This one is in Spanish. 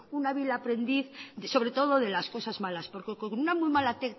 un hábil aprendiz sobre todo de las cosas malas porque con una muy mala